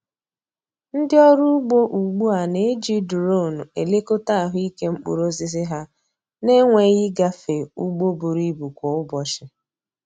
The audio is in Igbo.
Ndị ọrụ ugbo ugbu a na-eji duronu elekọta ahụike mkpụrụ osisi ha na-enweghị ịgafe ugbo buru ibu kwa ụbọchị.